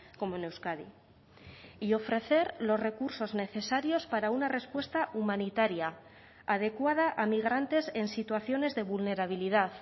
como en euskadi y ofrecer los recursos necesarios para una respuesta humanitaria adecuada a migrantes en situaciones de vulnerabilidad